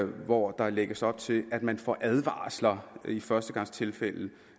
hvor der lægges op til at man får advarsler i førstegangstilfælde